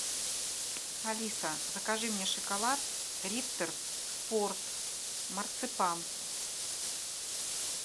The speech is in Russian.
алиса закажи мне шоколад риттер спорт марципан